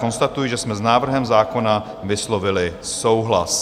Konstatuji, že jsme s návrhem zákona vyslovili souhlas.